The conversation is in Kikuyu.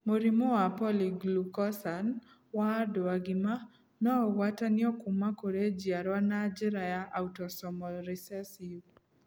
Mũrimũ wa polyglucosan wa andũ agima no ũgwatanio kuma kũrĩ njiarwa na njĩra ya autosomal recessive.